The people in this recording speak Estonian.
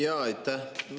Jaa, aitäh!